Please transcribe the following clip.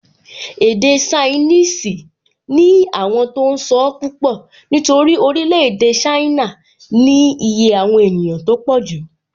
Èdè ṣainíìsì ní àwọn tó n sọ́ púpọ̀ nítorí orílẹ̀-èdè ṣáínà ní iye àwọn ènìyàn tó pọ̀jù